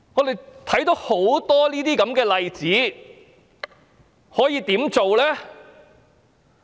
對於很多這些例子，我們可以怎麼辦？